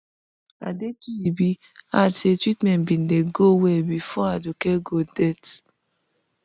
adetuyibi add say treatment bin dey go well bifor aduke gold death